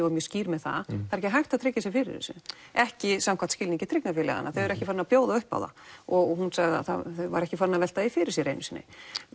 var mjög skýr með það það er ekki hægt að tryggja sig fyrir þessu ekki samkvæmt skilningi tryggingafélaganna þau eru ekki farin að bjóða uppá það og hún sagði að þau væru ekki farin að velta því fyrir sér einu sinni